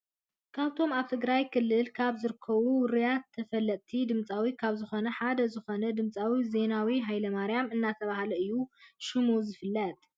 ካብቶም ኣብ ትግራይ ክልል ካብ ዝርከቡ ውርያትን ተፈለጥት ድምፃዊያን ካብ ዝኮኑ ሓደ ዝኮነ ድምፃዊ ዜናዊ ሃይለማርያም እናተባህለ እዩ ሽሙ ዝፍለጥ።